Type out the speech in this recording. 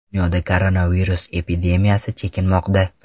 Dunyoda koronavirus epidemiyasi chekinmoqda.